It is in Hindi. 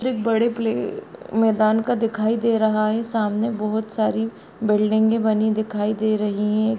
एक बड़े प्ले अ- मैदान का दिखाई दे रहा है सामने बहोत सारी बिलडिंगे बनी दिखाई दे रही है।